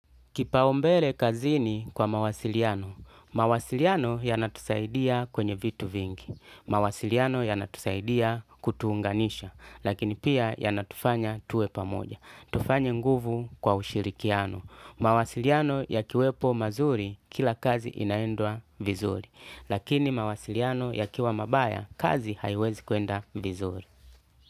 Kipaumbele kazini kwa mawasiliano, mawasiliano yanatusaidia kwenye vitu vingi, mawasiliano yanatusaidia kutuunganisha, lakini pia yanatufanya tuwe pamoja, tufanye nguvu kwa ushirikiano, mawasiliano yakiwepo mazuri kila kazi inaendwa vizuri, lakini mawasiliano yakiwa mabaya kazi haiwezi kwenda vizuri.